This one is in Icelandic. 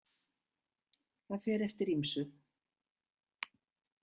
Það fer eftir ýmsu.